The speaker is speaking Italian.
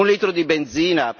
Un litro di benzina?